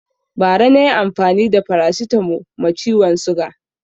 Bara na yi amfani da farasitamo ma ciwon suga